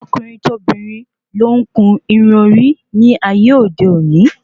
Tọkùnrin tobìnrin ló ń kun irun orí ní ayé òde òní